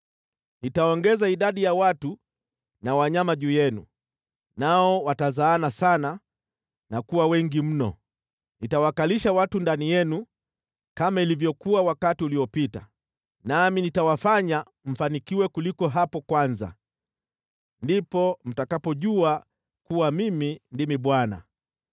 Nitaongeza idadi ya watu na wanyama juu yenu, nao watazaana sana na kuwa wengi mno. Nitawakalisha watu ndani yenu kama ilivyokuwa wakati uliopita, nami nitawafanya mfanikiwe kuliko hapo kwanza. Ndipo mtakapojua kuwa Mimi ndimi Bwana .